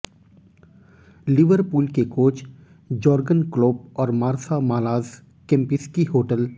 Liverpool के coach Jurgen Klopp और Marsa Malaz Kempinski hotel